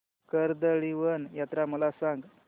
कर्दळीवन यात्रा मला सांग